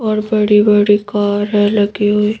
और बड़ी-बड़ी कार है लगी हुई।